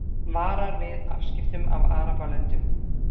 Varar við afskiptum af Arabalöndum